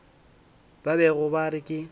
ba bego ba re ke